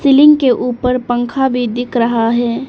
Ceiling के ऊपर पंखा भी दिख रहा है।